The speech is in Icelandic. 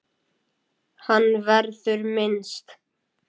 Hans verður minnst.